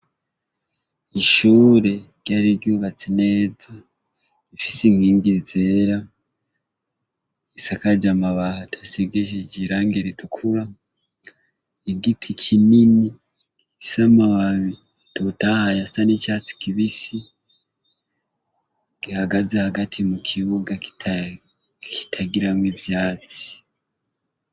Ishure ryari ryubatse neza rifise inkingi zera risakaje amabati asigishije irangi ritukura, igiti kinini gifise amababi atotahaye asa n'icatsi kibisi gihagaze mukibuga kitagiramwo ivyatsi.